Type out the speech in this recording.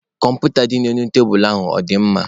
Kọmputa dị n'elu tebulu ahụ ọ dị mma?